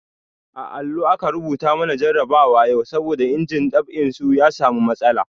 A allo aka rubuta mana jarabawa yau saboda injin dab'in su ya samu matsala.